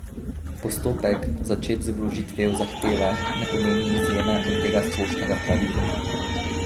Postopek, začet z vložitvijo zahteve, ne pomeni izjeme od tega splošnega pravila.